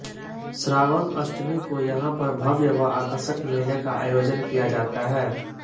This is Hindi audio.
श्रावण अष्टमी को यहा पर भव्य व आकषर्क मेले का आयोजन किया जाता है